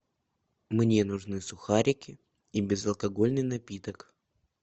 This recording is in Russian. мне нужны сухарики и безалкогольный напиток